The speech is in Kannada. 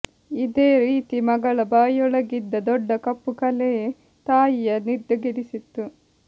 ಇದೇ ರೀತಿ ಮಗಳ ಬಾಯೊಳಗಿದ್ದ ದೊಡ್ಡ ಕಪ್ಪು ಕಲೆ ತಾಯಿಯ ನಿದ್ದೆಗೆಡಿಸಿತ್ತು